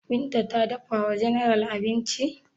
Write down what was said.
Binta ta dafa wa general abinci?